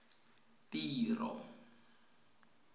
tiro